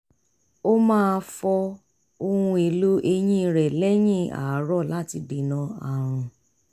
ó máa fọ ohun èlò eyín rẹ̀ lẹ́yìn àárọ̀ láti dènà ààrùn